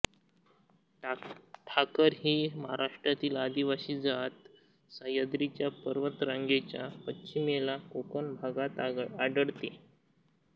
ठाकर ही महाराष्ट्रातील आदिवासी जात सह्याद्री पर्वतरांगेच्या पश्चिमेला कोकण भागात आढळते